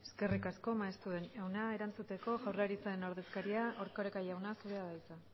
eskerrik asko maeztu jauna erantzuteko jaurlaritzaren ordezkaria erkoreka jauna zurea da hitza